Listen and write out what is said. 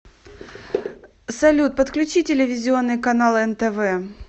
салют подключи телевизионный канал нтв